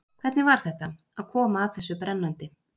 Hvernig var þetta, að koma að þessu brennandi?